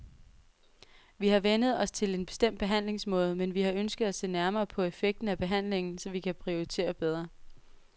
Vi har vænnet os til en bestemt behandlingsmåde, men vi har ønsket at se nærmere på effekten af behandlingen, så vi kan prioritere bedre.